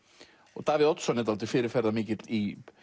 og Davíð Oddsson er dálítið fyrirferðarmikill í